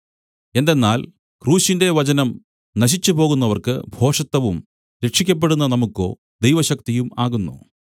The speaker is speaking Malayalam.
എന്തെന്നാൽ ക്രൂശിന്റെ വചനം നശിച്ചുപോകുന്നവർക്ക് ഭോഷത്തവും രക്ഷിയ്ക്കപ്പെടുന്ന നമുക്കോ ദൈവശക്തിയും ആകുന്നു